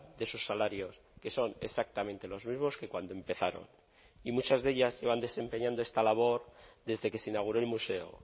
de sus salarios que son exactamente los mismos que cuando empezaron y muchas de ellas llevan desempeñando esta labor desde que se inauguró el museo